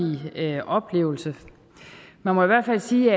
oplevelse man må i hvert fald sige